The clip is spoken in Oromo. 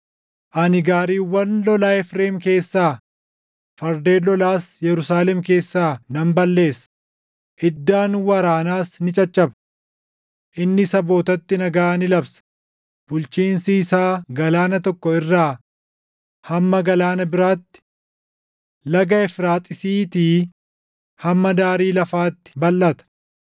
Ani gaariiwwan lolaa Efreem keessaa, fardeen lolaas Yerusaalem keessaa nan balleessa; iddaan waraanaas ni caccaba. Inni sabootatti nagaa ni labsa; bulchiinsi isaa galaana tokkoo irraa hamma galaana biraatti, Laga Efraaxiisiitii hamma daarii lafaatti balʼata.